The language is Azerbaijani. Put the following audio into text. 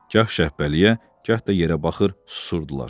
Gah Şəhbəliyə, gah da yerə baxır, susurdular.